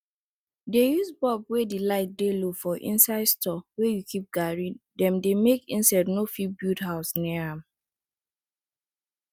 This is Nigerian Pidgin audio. dey use bulb wey de light dey low for inside store wey you keep garri dem make insect no fit build house near am